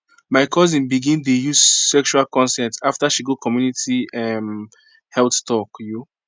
my cousin begin dey use sexual consent after she go community um health talk you